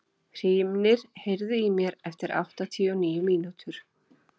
Hrímnir, heyrðu í mér eftir áttatíu og níu mínútur.